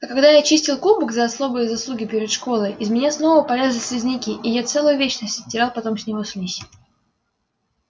а когда я чистил кубок за особые заслуги перед школой из меня снова полезли слизняки и я целую вечность оттирал потом с него слизь